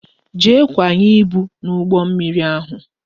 Jee kwanye ibu n'ụgbọ mmiri ahụ